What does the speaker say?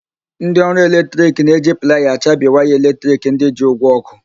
Ndị ọrụ eletrik na-eji playa achabi waya eletrik ndị ji ụgwọ ọ́kụ́.